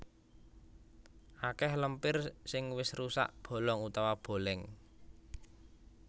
Akèh lempir sing wis rusak bolong utawa bolèng